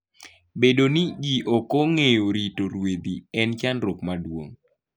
Bedo ni ji ok ong'eyo rito ruedhi en chandruok maduong'.